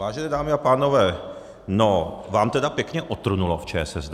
Vážené dámy a pánové, no, vám tedy pěkně otrnulo v ČSSD!